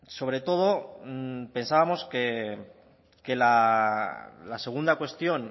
sobre todo pensábamos que la segunda cuestión